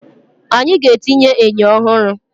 Anyị ga-etinye enyo ọhụrụ